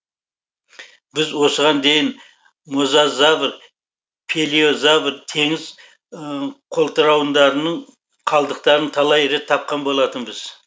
біз осыған дейін мозазавр плеозавр теңіз қолтырауындарының қалдықтарын талай рет тапқан болатынбыз